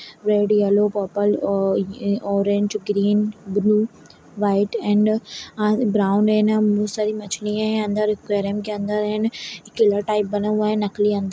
Red yellow purple और-ये orange green blue white and uh brown and बहोत सारी मछलियाँ हैं अंदर एक्वेरियम के अंदर एंड एक बना हुआ है नकली अंदर।